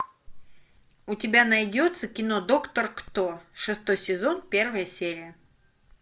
у тебя найдется кино доктор кто шестой сезон первая серия